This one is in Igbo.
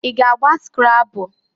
I ga-agba skrabul?